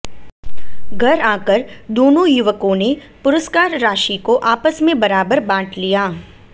घर आकर दोनो युवकों ने पुरुस्कार राशि को आपस में बराबर बांट लिया